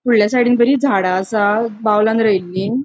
फुडल्या साइडीन बरी झाड़ा असा बाउलान रोईली.